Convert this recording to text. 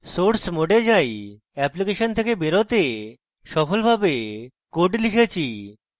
source mode যাই application থেকে বেরোতে সফলভাবে code লিখেছি